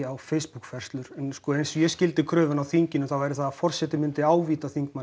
á Facebook færslur eins og ég skildi kröfuna á þinginu var að forseti myndi ávíta þingmanninn